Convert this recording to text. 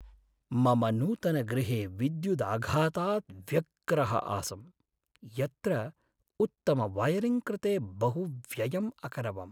मम नूतनगृहे विद्युदाघातात् व्यग्रः आसं, यत्र उत्तमवयरिङ्ग् कृते बहु व्ययम् अकरवम्।